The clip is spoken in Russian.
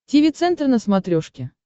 тиви центр на смотрешке